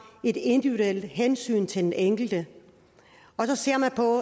et individuelt hensyn til den enkelte og så ser man på